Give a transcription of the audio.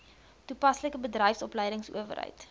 toe paslike bedryfsopleidingsowerheid